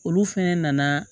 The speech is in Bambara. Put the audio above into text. Olu fɛnɛ nana